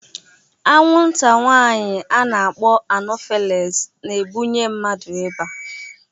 Anwụnta nwanyị ana-akpọ anọfeles na-ebunye mmadu ịba